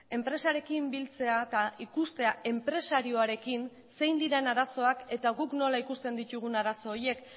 enpresarekin biltzea eta ikustea enpresarioarekin zein diren arazoak eta guk nola ikusten ditugun arazo horiek